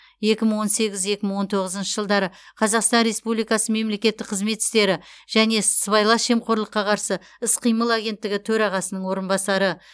екі мың он сегіз екі мың он тоғызыншы жылдары қазақстан республикасы мемлекеттік қызмет істері және сыбайлас жемқорлыққа қарсы іс қимыл агенттігі төрағасының орынбасары